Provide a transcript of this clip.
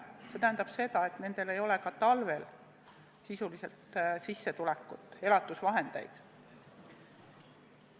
See tähendab seda, et nendel ei ole ka talvel sisuliselt elatusvahendeid.